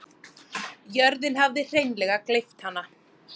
Jörðin hafði hreinleg gleypt hana.